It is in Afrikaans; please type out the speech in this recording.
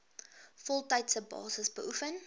voltydse basis beoefen